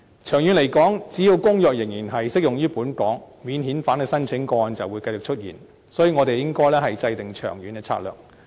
長遠來說，只要公約仍然適用於本港，免遣返申請的個案就會繼續出現，所以，我們應該制訂長遠策略。